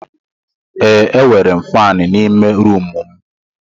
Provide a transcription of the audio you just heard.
Ee, M nwere faani n'ime rumụ m.